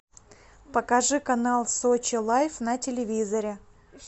покажи канал сочи лайф на телевизоре